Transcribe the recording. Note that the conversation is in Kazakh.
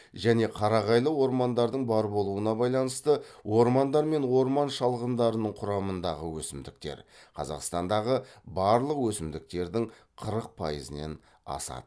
және қарағайлы ормандардың бар болуына байланысты ормандар мен орман шалғындарының құрамындағы өсімдіктер қазақстандағы барлық өсімдіктердін қырық пайызінен асады